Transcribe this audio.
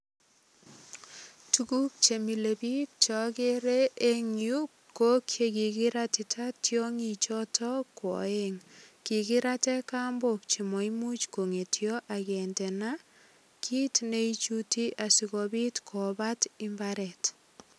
Tuguk che milebiik chogere eng yu ko chekikiratita tiongichoto kwo oeng. Kikirate kambok che maimuch kongetio ak kindena kit ne ichuti sigopit kobat imbaret.